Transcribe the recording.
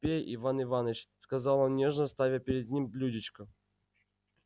пей иван иваныч сказал он нежно ставя перед ним блюдечко